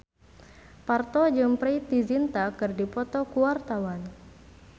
Parto jeung Preity Zinta keur dipoto ku wartawan